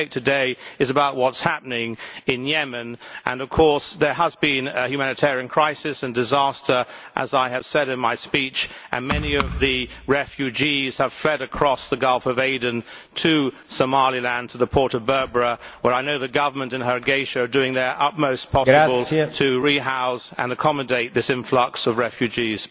The debate today is about what is happening in Yemen, and there has been, of course, a humanitarian crisis and disaster, as I have said in my speech, and many of the refugees have fled across the Gulf of Aden to Somaliland, to the port of Berbera, where I know the government in Hargeisa are doing their utmost possible to rehouse and accommodate this influx of refugees.